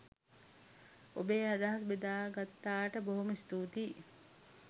ඔබේ අදහස් බෙදගත්තාට බොහොම ස්තුතියි.